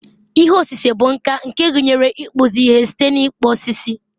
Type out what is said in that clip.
ihe osise bụ nka nke gụnyere ịkpụzi ihe site n'ịkpụ osisi